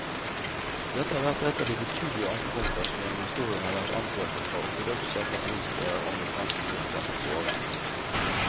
Dette har vært et av de betydelige ankepunkter som gjennom historien har vært anført fra ortodokse, katolske og anglikanske kirker mot våre.